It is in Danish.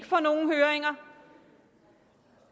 få nogen høringer